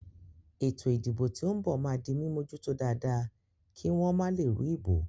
Ètò ìdìbò tí ó ń bò máa di mímójútó dáadáa kí wọ́n ba lè rú ìbò